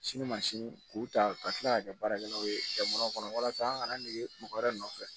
Sini masini k'u ta ka tila ka kɛ baarakɛlaw ye jamana kɔnɔ walasa an kana dege mɔgɔ wɛrɛ nɔfɛ